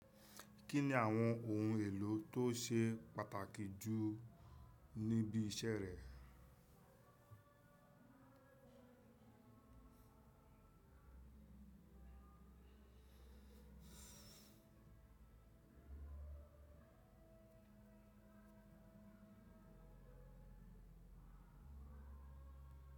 Kí ni àwọn ohun èlò tó ṣe pàtàkì jù níbi iṣẹ́ rẹ?